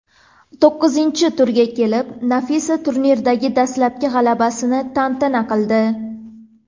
To‘qqizinchi turga kelib Nafisa turnirdagi dastlabki g‘alabasini tantana qildi.